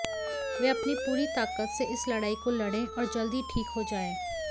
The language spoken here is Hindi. वह अपनी पूरी ताकत से इस लड़ाई को लड़ें और जल्द ही ठीक हो जाएं